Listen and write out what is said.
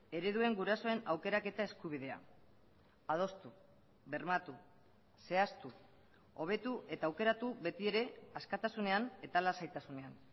ereduen gurasoen aukeraketa eskubidea adostu bermatu zehaztu hobetu eta aukeratu beti ere askatasunean eta lasaitasunean